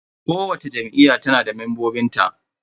Kowacce Jam'iyya tana da membobin ta.